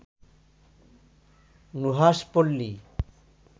Nuhash Palli